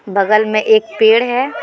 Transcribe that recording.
बगल में एक पेड़ है।